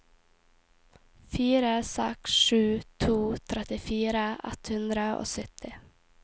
fire seks sju to trettifire ett hundre og sytti